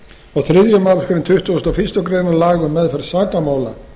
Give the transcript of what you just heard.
og þriðju málsgrein tuttugustu og fyrstu grein laga um meðferð sakamála